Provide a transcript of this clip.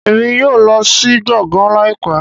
Emi yóò lọ si gboôgan laipẹ